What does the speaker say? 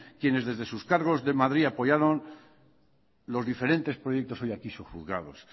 quienes desde sus cargos de madrid apoyaron los diferentes proyectos hoy aquí subjuzgados